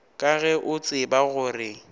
ka ge o tseba gore